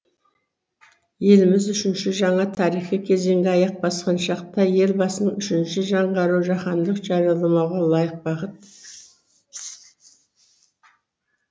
еліміз үшінші жаңа тарихи кезеңге аяқ басқан шақта елбасының үшінші жаңғыруы жаһандық жариялымға лайық бағыт